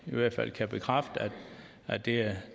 i hvert fald kan bekræfte at det er